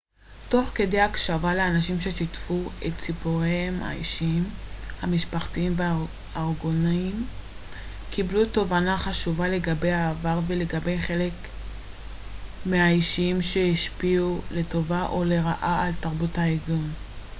תוך כדי הקשבה לאנשים ששיתפו את סיפוריהם האישיים המשפחתיים וארגוניים קיבלנו תובנה חשובה לגבי העבר ולגבי חלק מהאישים שהשפיעו לטובה או לרעה על תרבות הארגון